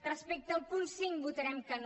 respecte al punt cinc votarem que no